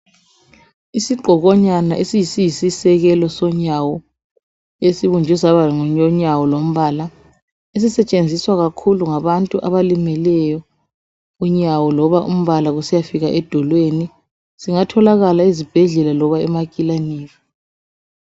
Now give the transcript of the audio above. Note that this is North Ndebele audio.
Isigqokonyana esiyisisekelo sonyawo esibunjwe saba lunyawo lombala esisetshenziswa kakhulu ngabantu abalimeleyo unyawo loba umbala kusiyafika edolweni singatholakala ezibhendlela loba emakilinika.